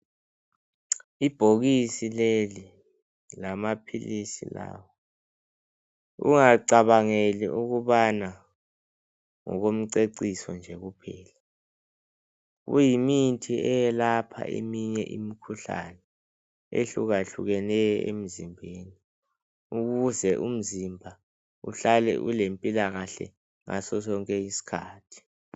Ibhokisi leli lamaphilisi lawa ungacabangeli ukubana ngoko mceciso nje kuphela. Kuyimithi eyelapha eminye imikhuhlane ehlukahlukeneyo emzimbeni ukuze umzimba uhlale ule mpilakahle ngaso sonke isikhathi.